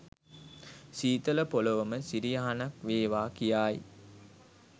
සීතල පොළවම සිරි යහනක් වේවා කියායි